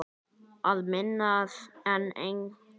Að minna en engu.